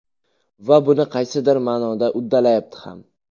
Va buni qaysidir ma’noda uddalayapti ham.